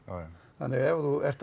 þannig að ef þú ert